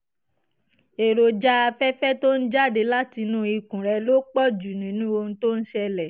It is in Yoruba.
èròjà afẹ́fẹ́ tó ń jáde látinú ikùn rẹ ló pọ̀ jù nínú ohun tó ń ṣẹlẹ̀